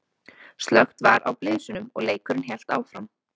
Slökkt var á blysunum og leikurinn hélt áfram.